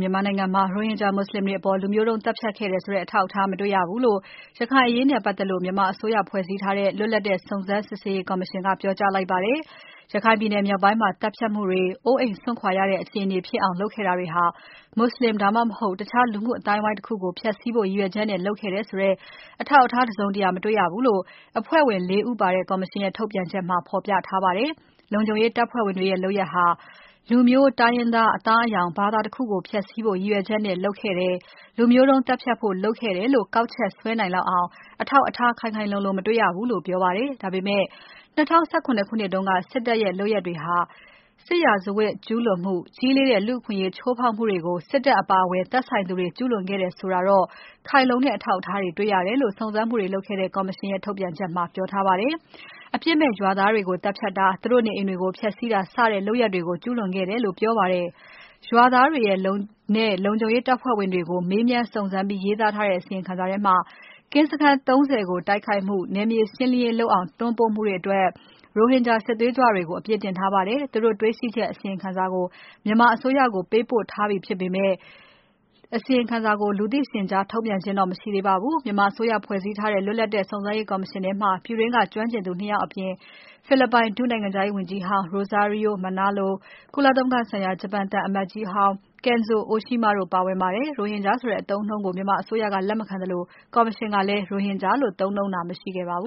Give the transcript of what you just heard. မြန်မာနိုင်ငံမှာ ရိုဟင်ဂျာမွတ်ဆလင်တွေအပေါ် လူမျိုးတုံးသတ်ဖြတ်ခဲ့တယ်ဆိုတဲ့ အထောက်အထားမတွေ့ရဘူးလို့ ရခိုင်အရေးနဲ့ပတ်သက်လို့ မြန်မာအစိုးရ ဖွဲ့စည်းထားတဲ့ လွတ်လပ်တဲ့စုံစမ်းစစ်ဆေးရေးကော်မရှင်က ပြောကြားလိုက်ပါတယ်။ ရခိုင်ပြည်နယ်မြောက်ပိုင်းမှာ သတ်ဖြတ်မှုတွေ၊ အိုးအိမ်စွန့်ခွာရတဲ့ အခြေအနေဖြစ်အောင် လုပ်ခဲ့တာတွေဟာ မွတ်ဆလင် ဒါမှမဟုတ် တခြားလူမှုအသိုင်းအဝိုင်းတခုကို ဖျက်စီးဖို့ ရည်ရွယ်ချက်နဲ့ လုပ်ခဲ့တယ်ဆိုတဲ့ အထောက်အထား တစုံတရာ မတွေ့ရဘူးလို့ အဖွဲ့ဝင် ၄ ဦးပါတဲ့ ကော်မရှင်ရဲ့ ထုတ်ပြန်ချက်မှာ ဖော်ပြထားပါတယ်။ လုံခြုံရေးတပ်ဖွဲ့ဝင်တွေရဲ့လုပ်ရပ်ဟာ လူမျိုး၊ တိုင်းရင်းသား၊ အသားအရောင် ဘာသာတခုကို ဖျက်စီးဖို့ ရည်ရွယ်ချက်နဲ့ လုပ်ခဲ့တယ်၊ လူမျိုးတုံးသတ်ဖြတ်ဖို့ လုပ်ခဲ့တယ်လို့ ကောက်ချက်ဆွဲနိုင်လောက်အောင် အထောက်အထား ခိုင်ခိုင်လုံလုံ မတွေ့ရဘူးလို့ ပြောပါတယ်။ ဒါပေမဲ့ ၂၀၁၇ ခုနှစ်တုန်းက စစ်တပ်ရဲ့ လုပ်ရပ်တွေအတွင်း စစ်ရာဇဝတ်ကျူးလွန်မှု၊ ကြီးလေးတဲ့လူ့အခွင့်အရေးချိုးဖောက်မှုတွေကို စစ်တပ်အပါအဝင်၊ သက်ဆိုင်သူတွေ ကျူးလွန်ခဲ့တယ်ဆိုတာတော့ ခိုင်လုံတဲ့အထောက်အထားတွေ တွေ့ရတယ်လို့ စုံစမ်းမှုတွေလုပ်ခဲ့တဲ့ ကော်မရှင်ကရဲ့ ထုတ်ပြန်ချက်မှာ ပြောထားပါတယ်။ အပြစ်မဲ့ရွာသားတွေကို သတ်ဖြတ်တာ၊ သူတို့နေအိမ်တွေကို ဖျက်စီးတာ စတဲ့လုပ်ရပ်တွေကို ကျူးလွန်ခဲ့တယ်လို့ ပြောပါတယ်။ ရွာသားတွေနဲ့ လုံခြုံရေးတပ်ဖွဲ့ဝင်တွေကို မေးမြန်းစုံစမ်းပြီးရေးသားတဲ့ အစီရင်ခံစာထဲမှာ၊ ကင်းစခန်း ၃၀ ကိုတိုက်ခိုက်မှု၊ နယ်မြေရှင်းလင်းရေးလုပ်အောင် တွန်းပို့မှုတို့အတွက် ရိုဟင်ဂျာစစ်သွေးကြွတွေကို အပြစ်တင်ထားပါတယ်။ သူတို့တေ့ွရှိချက်အစီရင်ခံစာကို မြန်မာအစိုးရကို ပေးပို့လိုက်ပြီဖြစ်ပေမဲ့ အစီရင်ခံစာကို လူသိရှင်ကြား ထုတ်ပြန်ခြင်း မရှိသေးပါဘူး။ မြန်မာအစိုးရ ဖွဲ့စည်းထားတဲ့ လွတ်လပ်တဲ့စုံစမ်းစစ်ဆေးရေးကော်မရှင်ထဲမှာ ပြည်တွင်းက ကျွမ်းကျင်သူ ၂ ယောက်အပြင် ဖိလစ်ပိုင် ဒုနိုင်ငံခြားရေးဝန်ကြီးဟောင်း Rosario Manalo၊ ကုလသမဂ္ဂဆိုင်ရာ ဂျပန်သံအမတ်ကြီးဟောင်း Kenzo Oshima တို့ပါဝင်ပါတယ်။ ရိုဟင်ဂျာဆိုတဲ့ အသုံးအနှုန်းကို မြန်မာအစိုးရက လက်မခံသလို ကော်မရှင်ကလည်း ရိုဟင်ဂျာလို့ သုံးနှုန်းတာ မရှိခဲ့ပါဘ